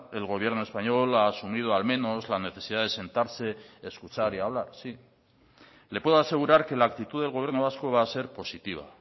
el gobierno español ha asumido al menos la necesidad de sentarse escuchar y hablar sí le puedo asegurar que la actitud del gobierno vasco va a ser positiva